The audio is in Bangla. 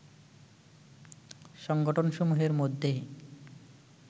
সংগঠনসমূহের মধ্যেই